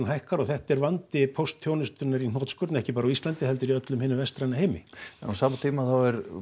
hækkar og þetta er vandi póstþjónustunnar í hnotskurn ekki bara á Íslandi heldur í öllum hinum vestræna heimi á sama tíma er